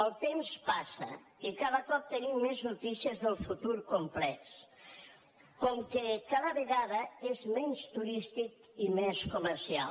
el temps passa i cada cop tenim més notícies del fu·tur complex com que cada vegada és menys turístic i més comercial